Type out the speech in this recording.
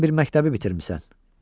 Sən bir məktəbi bitirmisən.